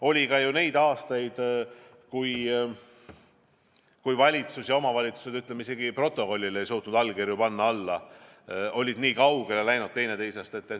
Oli ju ka aastaid, kui valitsus ja omavalitsused isegi protokollidele ei suutnud allkirju alla panna – nii kaugele oldi teineteisest mindud.